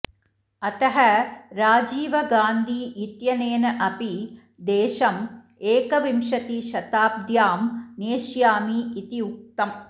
अतः राजीव गान्धी इत्यनेन अपि देशम् एकविंशतिशताब्द्यां नेष्यामि इति उक्तम्